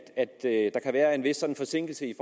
der kan være en vis forsinkelse i